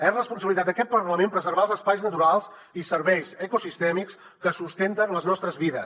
és responsabilitat d’aquest parlament preservar els espais naturals i serveis ecosistèmics que sustenten les nostres vides